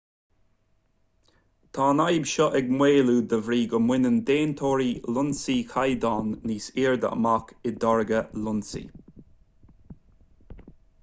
tá an fhadhb seo ag maolú de bhrí go mbaineann déantóirí lionsaí caighdeáin níos airde amach i dtáirgeadh lionsaí